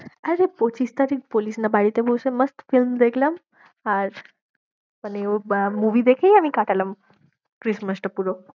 আরে পঁচিশ তারিখ বলিস না বাড়িতে বসে মাস্ত film দেখলাম, আর মানে আহ movie দেখেই আমি কাটালাম Christmas টা পুরো।